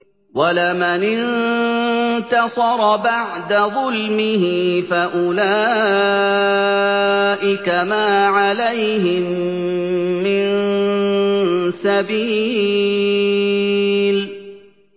وَلَمَنِ انتَصَرَ بَعْدَ ظُلْمِهِ فَأُولَٰئِكَ مَا عَلَيْهِم مِّن سَبِيلٍ